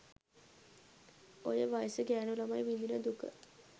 ඔය වයසේ ගෑණු ළමයි විඳින දුක